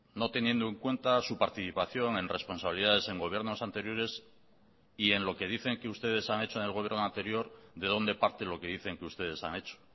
no teniendo en cuenta su participación en responsabilidades en gobiernos anteriores y en lo que dicen que ustedes han hecho en el gobierno anterior de donde parte lo que dicen que ustedes han hecho